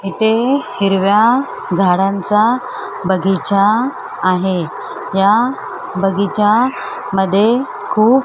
इथे हिरव्या झाडांचा बगीचा आहे या बगीचा मध्ये खूप --